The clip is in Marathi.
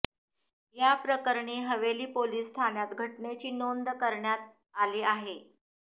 या प्रकरणी हवेली पोलिस ठाण्यात घटनेची नोंद करण्यात आली आहे